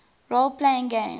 role playing games